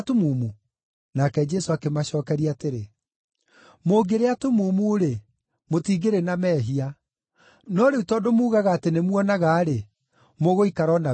Nake Jesũ akĩmacookeria atĩrĩ, “Mũngĩrĩ atumumu-rĩ, mũtingĩrĩ na mehia; no rĩu tondũ muugaga atĩ nĩmuonaga-rĩ, mũgũikara o na wĩhia wanyu.”